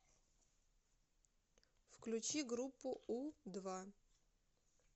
включи группу у два